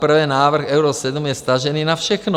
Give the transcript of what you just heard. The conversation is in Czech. Zaprvé návrh Euro 7 je vztažený na všechno.